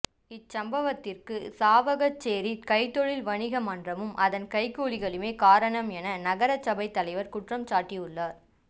இச் சம்பவத்திற்கு சாவகச்சேரி கைத்தொழில் வணிக மன்றமும் அதன் கைக்கூலிகளுமே காரணாம் எம நகரசபைத் தலைவர் குற்றம் சாட்டியுள்ளார்